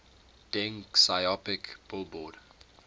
deng xiaoping billboard